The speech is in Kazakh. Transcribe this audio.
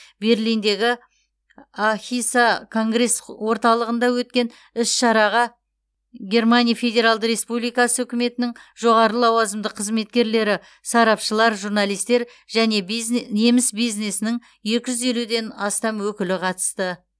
берлиндегі ахіса конгресс орталығында өткен іс шараға германия федералды республикасы үкіметінің жоғары лауазымды қызметкерлері сарапшылар журналистер және бизне неміс бизнесінің екі жүз елуден астам өкілі қатысты